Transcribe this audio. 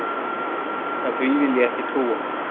En því vil ég ekki trúa.